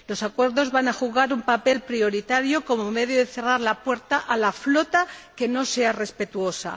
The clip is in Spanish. Los acuerdos van a jugar un papel prioritario como medio de cerrar la puerta a la flota que no sea respetuosa.